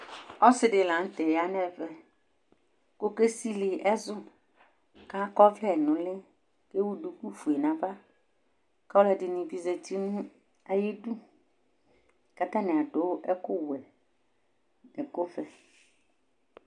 Ɔsi ɖɩ la ŋtɛ yanɛ ɛʋɛ Ko oké sɩlɩ ɛzʊ Ka akɔ ɔwḷǝ nʊ ʊlɩ Té wʊ dʊkụ fʊé naʋa Kɔ ɔlọdɩnɩ bɩ zatɩ nʊ ayɩdʊ Ƙa atanɩ adʊ ɛkʊ wʊɛ nɛ ɛkʊʋɛ